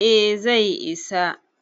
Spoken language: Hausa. eh zai isa